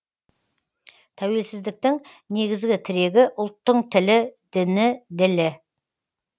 тәуелсіздіктің негізгі тірегі ұлттың тілі діні ділі